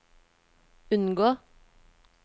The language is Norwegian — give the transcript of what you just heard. unngå